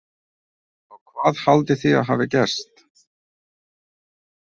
Og hvað haldið þið að hafi gerst?